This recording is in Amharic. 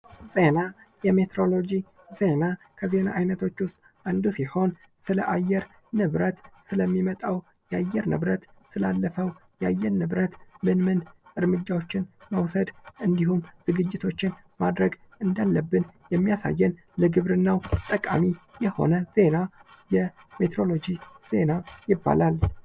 ዜና የሜሮሎጂ ዜና ከዜና አይነቶች ውስጥ አንዱ ሲሆን ስለ አየር ንብረት ስለሚመጣው የአየር ንብረት ስላለፈው የአየር ንብረት ምን ምን እርምጃዎችን መውሰድ እንዲሁም ዝግጅቶችን ማድረግ እንዳለብን የሚያሳየን ለግብርናው ጠቃሚ የሆነ ዜና ሜትሮሎጂ ዜና ይባላል።